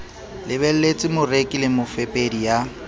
lebelletse moreki le mofepedi ya